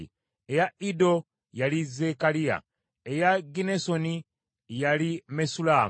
eya Iddo, yali Zekkaliya; eya Ginnesoni, yali Mesullamu;